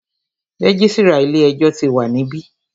Registrar ilé ẹjọ́ tí wa níbí.